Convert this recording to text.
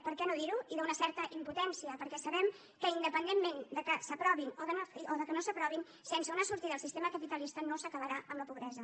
per què no dirho i d’una certa impotència perquè sabem que independentment que s’aprovin o que no s’aprovin sense una sortida al sistema capitalista no s’acabarà amb la pobresa